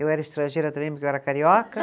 Eu era estrangeira também, porque eu era carioca.